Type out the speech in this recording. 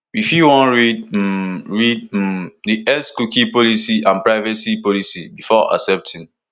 you fit wan read um read um di xcookie policyandprivacy policybefore accepting